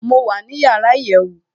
mo wà ní yàrá iyèwù